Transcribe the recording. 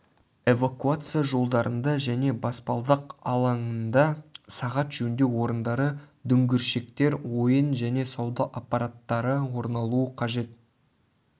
эвакуация жолдарында және баспалдақ алаңында сағат жөндеу орындары дүңгіршектер ойын және сауда аппараттары орналуы қажет